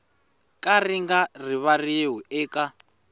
ka ri nga rivariwi eka